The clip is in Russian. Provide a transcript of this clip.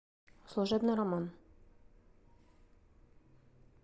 служебный роман